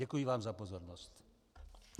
Děkuji vám za pozornost.